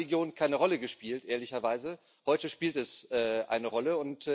Früher hat Religion keine Rolle gespielt ehrlicherweise heute spielt sie eine Rolle.